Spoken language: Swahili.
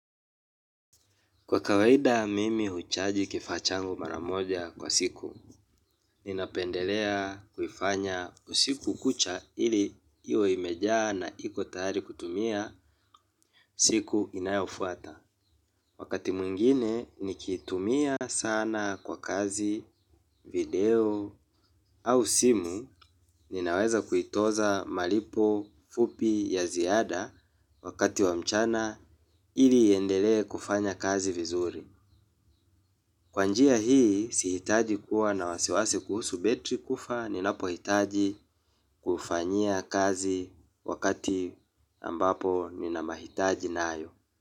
Kwa kawaida mimi huichaji kifaa changu maramoja kwa siku, ninapendelea kulifanya kwa siku kucha, ili iwe imejaa na iko tayari kutumia, siku inayofuata. Wakati mwingine, nikiitumia sana kwa kazi, video au simu, ninaweza kuitoza malipo fupi ya ziada, wakati wa mchana ili, iendelee kufanya kazi vizuri. Kwa njia hii, sihitaji kuwa na wasiwasi kuhusu betri kufa, ninapohitaji kufanyia kazi wakati ambapo ninamahitaji nayo.